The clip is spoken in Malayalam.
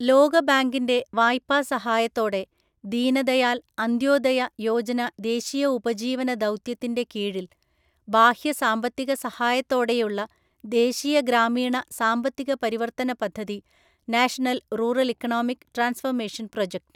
ലോകബാങ്കിന്‍റെ വായ്പാ സഹായത്തോടെ ദീൻദയാല്‍ അന്ത്യോദയ യോജന ദേശീയ ഉപജീവന ദൗത്യത്തിന്‍റെ കീഴില്‍, ബാഹ്യ സാമ്പത്തിക സഹായത്തോടെയുള്ള ദേശീയ ഗ്രാമീണ സാമ്പത്തിക പരിവർത്തന പദ്ധതി national‍ rural‍ economic transformation‍ project